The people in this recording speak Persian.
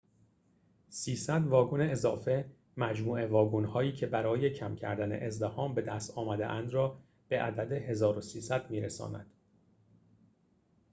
۳۰۰ واگن اضافه مجموع واگن‌هایی که برای کم کردن ازدحام بدست آمده‌اند را به عدد ۱۳۰۰ می‌رساند